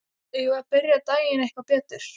Eigum við að byrja daginn eitthvað betur?